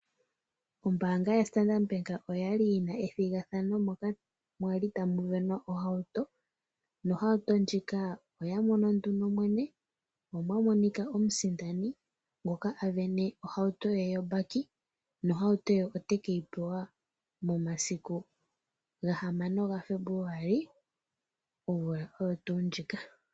Ombaanga yaStandard Bank oyali yina ethigathano moka mwali tamu sindanwa ohauto nohauto ndjika oya mono nduno mwene, mo omwa monika omusindani ngoka a sindana ohauto ye yombaki nohauto ye ote ke yi pewa momasiku gahamano gaFebluali omvula oyo tuu ndjika.